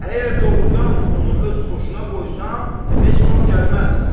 Əgər doğrudan onu öz xoşuna qoysan, heç vaxt gəlməz.